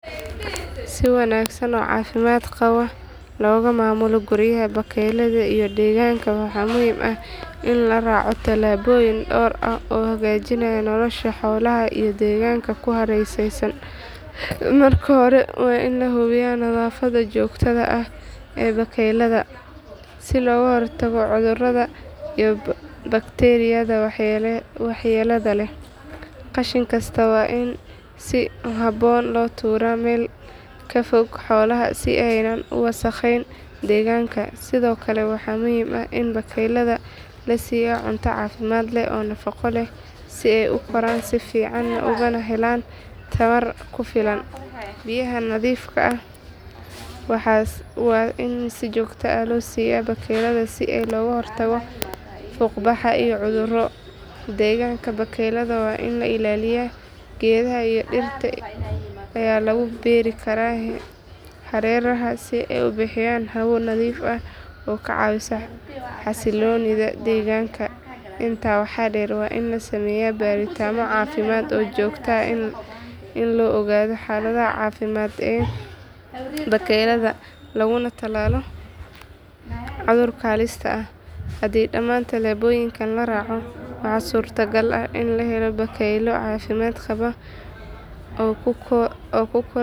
Si wanagsan oo cafimaad qawo loga mamulo guriyaada bakeylaada iyo deganka waxaa muhiim ah in la raco talaboyin dor ah oo hagajinaya nolosha xolaha iyo deganka kuhareresan marka hore waa in lahubiya baleylaada si loga hortago cudhuraada iyo bakteriyaada waxyelada leh, qashin kasta waa in si habon lo tura wasaqen deganka kale waxaa muhiim ah in bakeylaada lasiyo cunto cafimaad leh, biya nadhiif ah waa in si jogto ah lo siya, laguna talalo cudhurka halista ah, oo kukora.